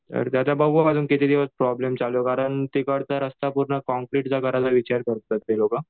तर आता ते बघू अजून किती दिवस प्रॉब्लेम चालू कारण तिकडचा रास्ता पूर्ण काँक्रीटचा करायचा विचार करतायेत ती लोकं.